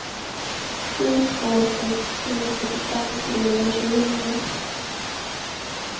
sju två sex tre fyrtiofem trehundratjugonio